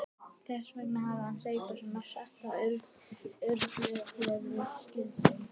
Þess vegna hafði hann hlaupið svona hratt og örugglega þegar við skildum.